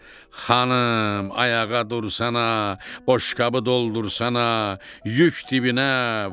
Xanım, ayağa dursana, boşqabı doldursana, yük dibinə, var!